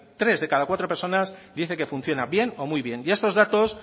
tres de cada cuatro personas dice que funciona bien o muy bien y estos datos